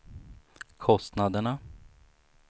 kostnaderna